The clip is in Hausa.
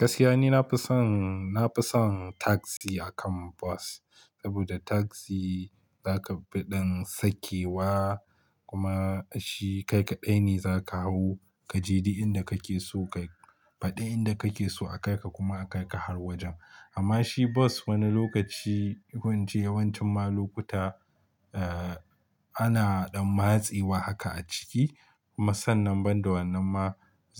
Gaskiya ne na fi son, na fi son taksi akan bas. Saboda taksi za ka fi ɗan sakewa kuma shi kai kaɗai ne za ka hau ka je duk inda kake so ka fadi inda kake so a kai ka kuma a kai ka har wajen. Amma shi bus wani lokachi ko ince yawanchin ma lokuta ana dan matsewa haka a ciki kuma sannan ban da wannan ma